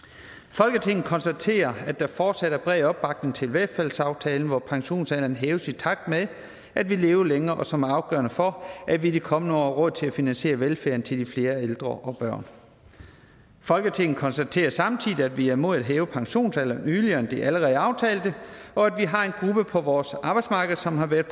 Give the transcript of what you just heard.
folketinget konstaterer at der fortsat er bred opbakning til velfærdsaftalen hvor pensionsalderen hæves i takt med at vi lever længere og som er afgørende for at vi i de kommende år til at finansiere velfærden til de flere ældre og børn folketinget konstaterer samtidig at vi er imod at hæve pensionsalderen yderligere end det allerede aftalte og at vi har en gruppe på vores arbejdsmarked som har været